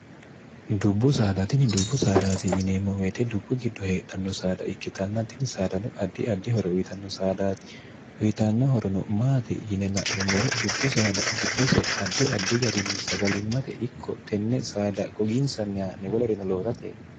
dubbu saadaatini dubbu saadaati yineemmo weete dubbu giddo heedhanno saada ikkitannatini saadano addi addihoro uyitanno saadaati uyitanno horono maati yine la'nummoro dubbu saada giddose addi addi garinni sagalimmate ikko tenne saada gogiinsanniyanewolerino lootate